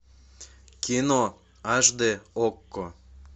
кино аш дэ окко